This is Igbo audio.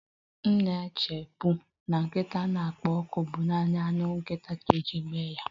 M na-echebu na nkịta na-ekpo ọkụ bụ naanị anụ nkịta ka eji eme ya